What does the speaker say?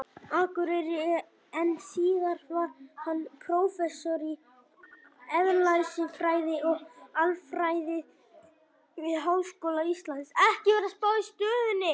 Akureyri, en síðar varð hann prófessor í eðlisfræði og aflfræði við Háskóla Íslands.